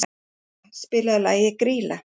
Bebba, spilaðu lagið „Grýla“.